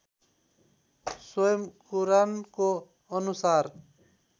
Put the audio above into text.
स्वयं कुरानको अनुसार